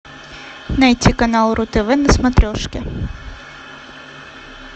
найти канал ру тв на смотрешке